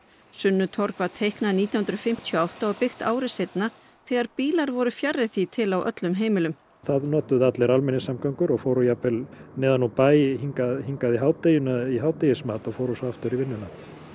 sunnutorg var teiknað nítján hundruð fimmtíu og átta og byggt ári seinna þegar bílar voru fjarri því til á öllum heimilum það notuðu allir almenningssamgöngur og fóru jafnvel neðan úr bæ og hingað og hingað í hádegismat í hádegismat og fóru svo aftur í vinnuna